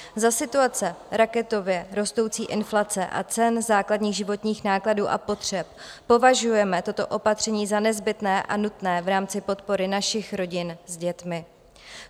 Za situace raketově rostoucí inflace a cen základních životních nákladů a potřeb považujeme toto opatření za nezbytné a nutné v rámci podpory našich rodin s dětmi.